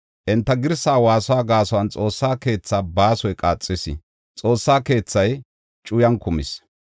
Enta girsa waasuwa gaason Xoossa keethaa baasoy qaaxis; Xoossa keethay cuyan kumis.